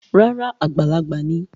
Rárá o, àgbàlagbà ni